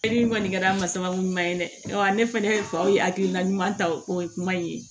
E ni kɔni kɛra masako ɲuman ye dɛ ɔ ne fɛnɛ faw ye hakilina ɲuman ta o ye kuma in ye